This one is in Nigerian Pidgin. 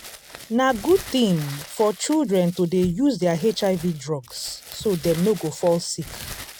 na good thing for children to dey use their hiv drugs so dem no go fall sick